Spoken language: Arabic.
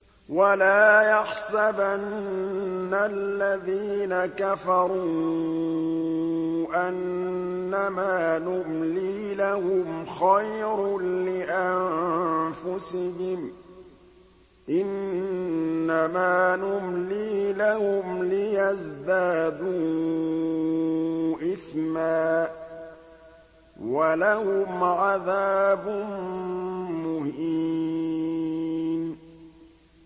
وَلَا يَحْسَبَنَّ الَّذِينَ كَفَرُوا أَنَّمَا نُمْلِي لَهُمْ خَيْرٌ لِّأَنفُسِهِمْ ۚ إِنَّمَا نُمْلِي لَهُمْ لِيَزْدَادُوا إِثْمًا ۚ وَلَهُمْ عَذَابٌ مُّهِينٌ